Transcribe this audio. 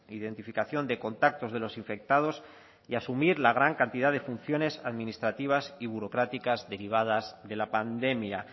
identificación de contactos de los infectados y asumir la gran cantidad de funciones administrativas y burocráticas derivadas de la pandemia